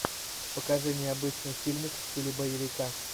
покажи необычный фильмик в стиле боевика